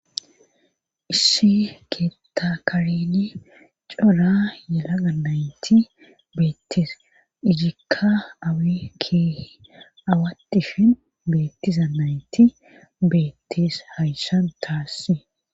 Ishi keettakareni cola yelaga nayti beettisa ijikka awi keeh awatifin beettiza nayti beettis hayssan taassi.